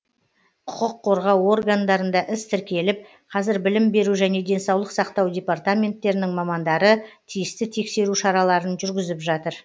құқық қорғау органдарында іс тіркеліп қазір білім беру және денсаулық сақтау департаменттерінің мамандары тиісті тексеру шараларын жүргізіп жатыр